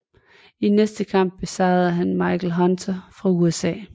I næste kamp besejrede han Michael Hunter fra USA